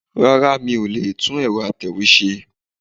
Rárá mi ò lè tún ẹ̀rọ Atẹ̀wé ṣe.